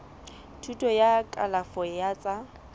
thuto ya kalafo ya tsa